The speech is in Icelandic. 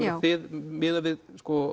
miðað við